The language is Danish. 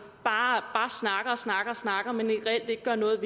bare snakker og snakker men reelt ikke gør noget